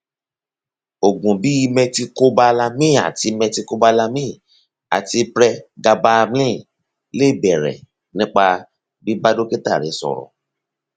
oògùn bíi methylcobalamin àti methylcobalamin àti pregabalin lè bẹrẹ nípa bíbá dókítà rẹ sọrọ